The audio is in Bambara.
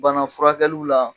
Banafurakɛliw la